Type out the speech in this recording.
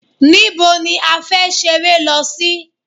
Níbo ni a fẹ́ ṣeré lọ sí?